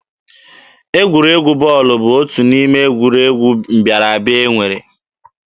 Egwuregwu bọọlụ bụ otu n'ime egwuregwu mbịara abịa e nwere.